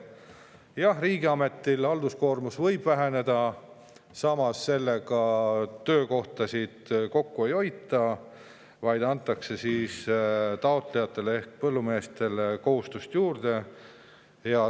Jah, riigiameti halduskoormus võib väheneda, samas sellega töökohtasid kokku ei, vaid antakse taotlejatele ehk põllumeestele kohustusi juurde.